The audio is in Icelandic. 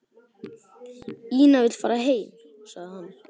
Ína vill fara heim, sagði hann.